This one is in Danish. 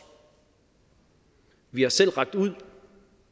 vi har selv rakt ud